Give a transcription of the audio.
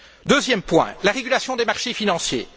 Deuxième point, la régulation des marchés financiers.